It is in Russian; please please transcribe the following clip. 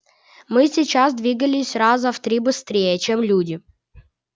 мы сейчас двигались раза в три быстрее чем люди один из основных признаков сумрака изменение хода времени